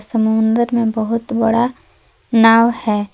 समुद्र में बहुत बड़ा नाव है।